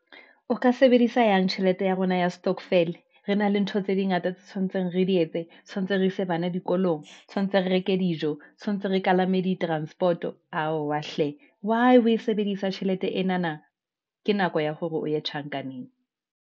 O ka sebedisa yang tjhelete ya rona ya stokvel-e, re na le ntho tse dingata tse tshwantseng re di etse, tshwantse re ise bana dikolong, tshwantse re reke dijo, tshwantse re kalame di-transport-o aowa hle, why o sebedisa tjhelete enana. Ke nako ya hore o ye tjhankaneng.